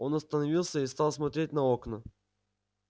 он остановился и стал смотреть на окна